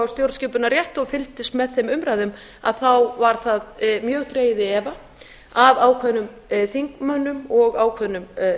stjórnskipunarrétti og fylgdust með þeim umræðum að þá var það mjög dregið í efa af ákveðnum þingmönnum og ákveðnum